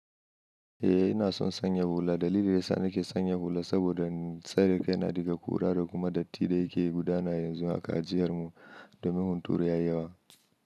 Eh ina son sanya hula. Dalilin da ya sa nake sanya hula saboda tsare kai na daga ƙura da kuma datti da yake gudana yanzu a jiyar mu domin hunturu ya yi yawa.